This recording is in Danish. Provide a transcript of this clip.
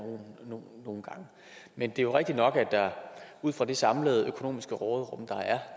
men det er jo rigtigt nok at der ud fra det samlede økonomiske råderum der er